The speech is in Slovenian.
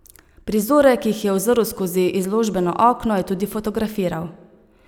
Prizore, ki jih je uzrl skozi izložbeno okno, je tudi fotografiral.